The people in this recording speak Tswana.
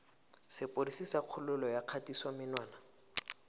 sepodisi sa kgololo ya kgatisomenwa